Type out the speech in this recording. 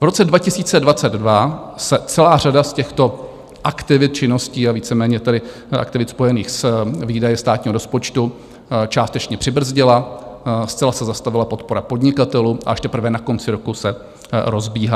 V roce 2022 se celá řada z těchto aktivit, činností a víceméně tedy aktivit spojených s výdaji státního rozpočtu částečně přibrzdila, zcela se zastavila podpora podnikatelů a až teprve na konci roku se rozbíhá.